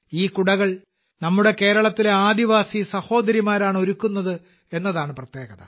ഈ കുടകൾ നമ്മുടെ കേരളത്തിലെ ആദിവാസി സഹോദരിമാരാണ് ഒരുക്കുന്നത് എന്നതാണ് പ്രത്യേകത